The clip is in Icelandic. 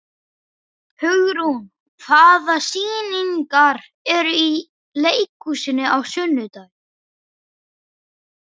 Hugrún, hvaða sýningar eru í leikhúsinu á sunnudaginn?